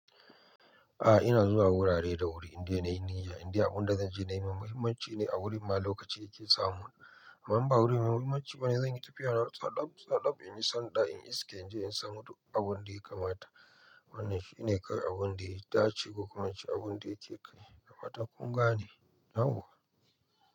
A'a ina zuwa wurare da wuri indai na yin niyya, inda abunda zanje nayi, mai muhimanci ne a wurin ma lokaci da ke samu. Amma, in ba wurin mai muhimmanci bane zanyi tafiya nawa, tsadab-tsadab, in yi sanɗa, in iska inje in samu duk abun da ya kamata. Wannan shine kai abun da ya dace, ko kuma abun da yake kai, dafatan kunga ne? Yauwa.